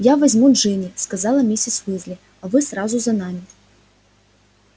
я возьму джинни сказала миссис уизли а вы сразу за нами